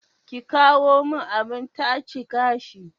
ki kawo min abin-tace gashi.